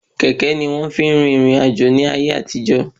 Kẹ̀kẹ́ ni wọ́n fi ń rin ìrìn àjò láyé àtijọ